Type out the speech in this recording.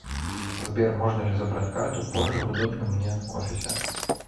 сбер можно ли забрать карту позже в удобном мне офисе